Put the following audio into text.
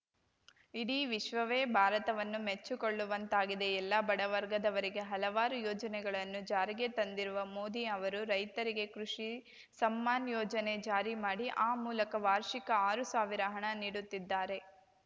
ಇಡೀ ವಿಶ್ವವೇ ಭಾರತವನ್ನು ಮೆಚ್ಚಿಕೊಳ್ಳುವಂತಾಗಿದೆ ಎಲ್ಲ ಬಡವರ್ಗದವರಿಗೆ ಹಲವಾರು ಯೋಜನೆಗಳನ್ನು ಜಾರಿಗೆ ತಂದಿರುವ ಮೋದಿ ಅವರು ರೈತರಿಗೆ ಕೃಷಿ ಸಮ್ಮಾನ್‌ ಯೋಜನೆ ಜಾರಿ ಮಾಡಿ ಆ ಮೂಲಕ ವಾರ್ಷಿಕ ಆರು ಸಾವಿರ ಹಣ ನೀಡುತ್ತಿದ್ದಾರೆ